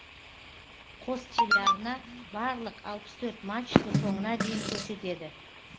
қос телеарна барлық алпыс төрт матчты соңына дейін көрсетеді